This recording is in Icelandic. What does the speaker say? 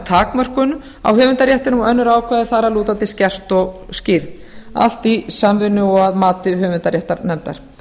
takmörkun á höfundaréttinum og önnur ákvæði þar að lútandi skerpt og skýrð allt í samvinnu og að mati höfundaréttarnefndar